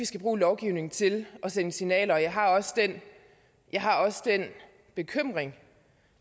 skal bruge lovgivning til at sende signaler og jeg har også den bekymring